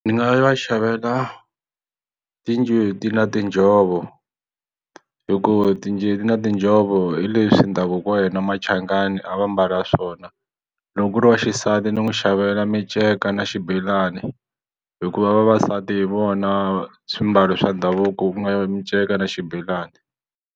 Ni nga va xavela tinjeti na tinjhovo hikuva na tinjhovo hi leswi ndhavuko wa hina Machangani a va mbala swona loko ku ri waxisati ni n'wi xavela minceka na xibelani hikuva vavasati hi vona swimbalo swa ndhavuko ku nga minceka na xibelani.